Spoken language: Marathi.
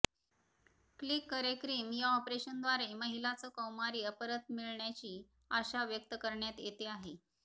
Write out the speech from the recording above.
क्लिक करेक्रिम या ऑपरेशनद्वारे महिलाचं कौमार्य परत मिळण्याची आशा व्यक्त करण्यात येते आहे